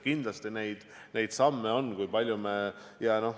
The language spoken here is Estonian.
Kindlasti neid samme on, mida me oleme astunud.